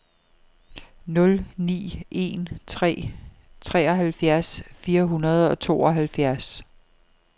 nul ni en tre treoghalvfjerds fire hundrede og tooghalvfjerds